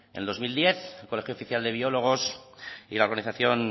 en dos mil diez el colegio oficial de biólogos y la organización